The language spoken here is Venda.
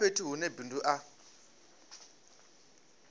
a fhethu hune bindu a